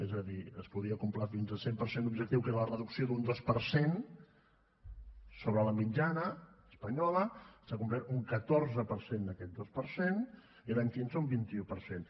és a dir es podria complir fins al cent per cent l’objectiu que era la reducció d’un dos per cent sobre la mitjana espanyola s’ha complert un catorze per cent d’aquest dos per cent i l’any quinze un vint un per cent